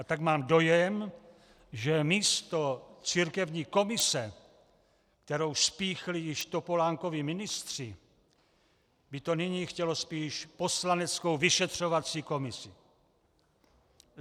A tak mám dojem, že místo církevní komise, kterou spíchli již Topolánkovi ministři, by to nyní chtělo spíš poslaneckou vyšetřovací komici.